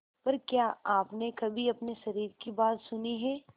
पर क्या आपने कभी अपने शरीर की बात सुनी है